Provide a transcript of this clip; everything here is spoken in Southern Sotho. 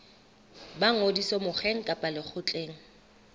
ba ngodiso mokgeng kapa lekgotleng